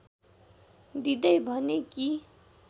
दिँदै भने कि